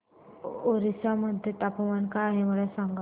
ओरिसा मध्ये तापमान काय आहे मला सांगा